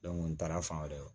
n taara fan wɛrɛ